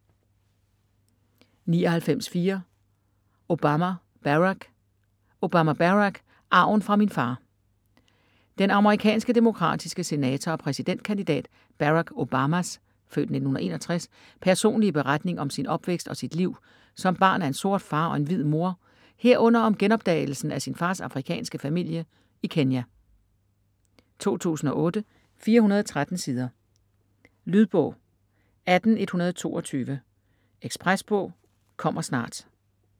99.4 Obama, Barack Obama, Barack: Arven fra min far Den amerikanske demokratiske senator og præsidentkandidat Barack Obamas (f. 1961) personlige beretning om sin opvækst og sit liv som barn af en sort far og en hvid mor herunder om genopdagelsen af sin fars afrikanske familie i Kenya. 2008, 413 sider. Lydbog 18122 Ekspresbog - kommer snart